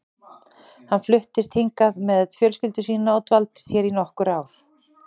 Hann fluttist hingað með fjölskyldu sína og dvaldist hér í nokkur ár.